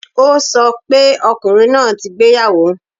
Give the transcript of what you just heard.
O sọ pé ọkùnrin náà ti gbéyàwó